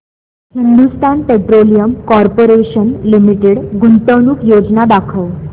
Hindustan petroleum corporation limited गुंतवणूक योजना दाखव